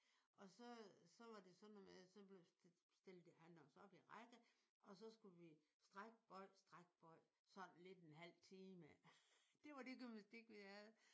Og så øh så var det sådan noget med at så blev stillede han os op i rækker og så skulle vi stræk bøj stræk bøj sådan lidt en halv time. Det var det gymnastik vi havde